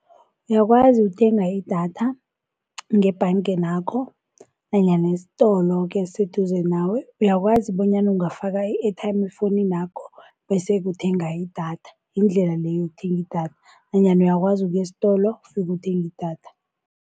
Uyakwazi ukuthenga idatha ngebhangeni yakho nanyana isitolo-ke esiseduze nawe. Uyakwazi bonyana ungafaka i-airtime efowuninakho bese-ke uthenga idatha, yindlela le yokuthenga idatha nanyana uyakwazi ukuya estolo ufike uthenge i-datha.